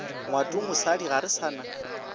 ngwatomosadi ga re sa na